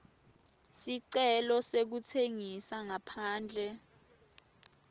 sicelo sekutsengisa ngaphandle